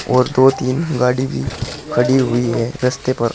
और दो तीन गाड़ी भी खड़ी हुई है रस्ते पर।